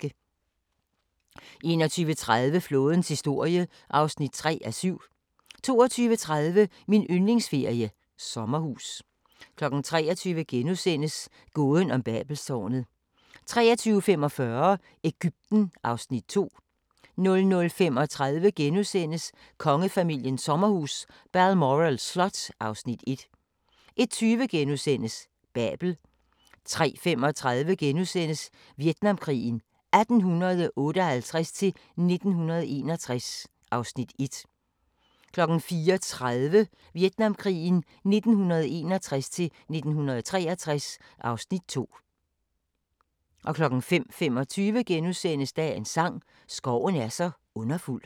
21:30: Flådens historie (3:7) 22:30: Min yndlingsferie: Sommerhus 23:00: Gåden om Babelstårnet * 23:45: Egypten (Afs. 2) 00:35: Kongefamiliens sommerhus – Balmoral Slot (Afs. 1)* 01:20: Babel * 03:35: Vietnamkrigen 1858-1961 (Afs. 1)* 04:30: Vietnamkrigen 1961-1963 (Afs. 2) 05:25: Dagens sang: Skoven er så underfuld *